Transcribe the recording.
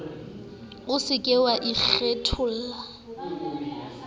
o se ke wa ikgatella